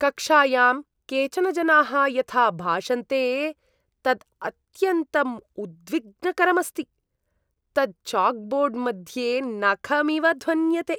कक्षायां केचन जनाः यथा भाषन्ते तत् अत्यन्तं उद्विग्नकरम् अस्ति, तत् चाक्बोर्ड् मध्ये नखम् इव ध्वन्यते।